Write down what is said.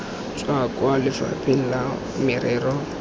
tswa kwa lefapheng la merero